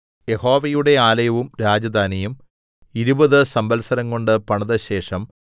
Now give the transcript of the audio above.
യഹോവയുടെ ആലയവും രാജധാനിയും ഇരുപത് സംവത്സരംകൊണ്ട് പണിതശേഷം